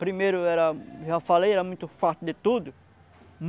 Primeiro era, já falei, era muito farto de tudo.